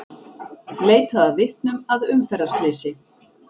Leitað að vitnum að umferðarslysi